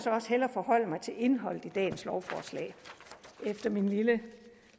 også hellere forholde mig til indholdet i dagens lovforslag efter min lille